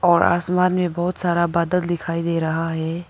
और आसमान में बहुत सारा बादल दिखाई दे रहा है।